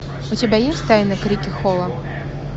у тебя есть тайна крикли холла